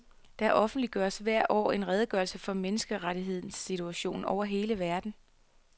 Der offentliggøres hvert år en redegørelse for menneskerettighedssituationen over hele verden.